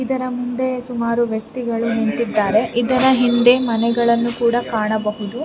ಇದರ ಮುಂದೆ ಸುಮಾರು ವ್ಯಕ್ತಿಗಳು ನಿಂತಿದ್ದಾರೆ ಇದರ ಹಿಂದೆ ಮನೆಗಳನ್ನು ಕೂಡ ಕಾಣಬಹುದು.